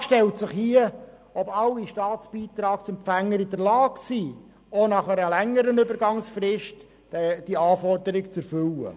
Hier stellt sich die Frage, ob alle Staatsbeitragsempfänger in der Lage sind, auch nach einer längeren Übergangsfrist diese Anforderung zu erfüllen.